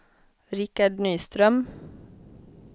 Rickard Nyström